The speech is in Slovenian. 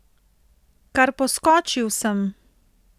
Kar poskočil sem.